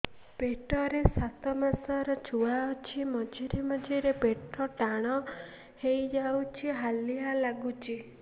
ପେଟ ରେ ସାତମାସର ଛୁଆ ଅଛି ମଝିରେ ମଝିରେ ପେଟ ଟାଣ ହେଇଯାଉଚି ହାଲିଆ ଲାଗୁଚି